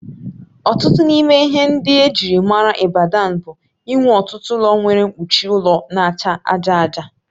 Otu n'ime ihe ndị ejịrị maara Ibadan bụ inwe ọtụtụ ụlọ nwere mkpuchi ụlọ n'acha aja aja